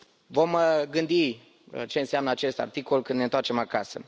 Vom gândi ce înseamnă acest articol când ne întoarcem acasă.